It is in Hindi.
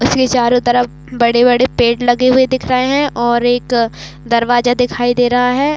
इसके चारो तरफ बड़े - बड़े पेड़ लगे हुए दिख रहे है और एक दरवाजा दिखाई दे रहा है।